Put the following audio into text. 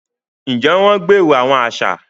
Njẹ wọn gbèrò awọn aṣa?